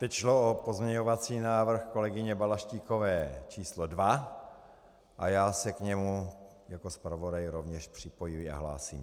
Teď šlo o pozměňovací návrh kolegyně Balaštíkové číslo 2 a já se k němu jako zpravodaj rovněž připojuji a hlásím.